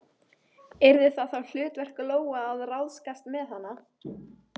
Yrði það þá hlutverk Lóu að ráðskast með hana?